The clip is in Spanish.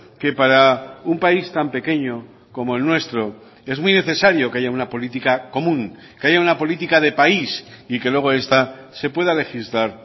que para un país tan pequeño como el nuestro es muy necesario que haya una política común que haya una política de país y que luego esta se pueda legislar